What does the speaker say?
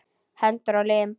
Hendur og lim.